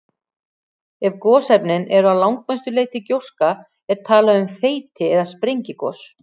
Ef gosefnin eru að langmestu leyti gjóska er talað um þeyti- eða sprengigos.